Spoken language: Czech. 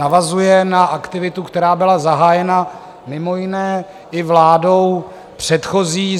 Navazuje na aktivitu, která byla zahájena mimo jiné i vládou předchozí.